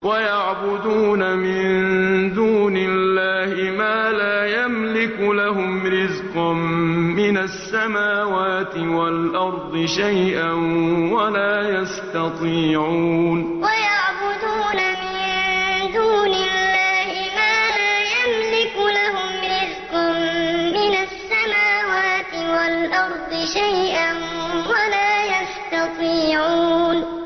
وَيَعْبُدُونَ مِن دُونِ اللَّهِ مَا لَا يَمْلِكُ لَهُمْ رِزْقًا مِّنَ السَّمَاوَاتِ وَالْأَرْضِ شَيْئًا وَلَا يَسْتَطِيعُونَ وَيَعْبُدُونَ مِن دُونِ اللَّهِ مَا لَا يَمْلِكُ لَهُمْ رِزْقًا مِّنَ السَّمَاوَاتِ وَالْأَرْضِ شَيْئًا وَلَا يَسْتَطِيعُونَ